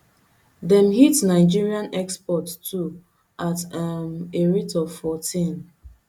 dem hit nigerian exports too at um a rate of fourteen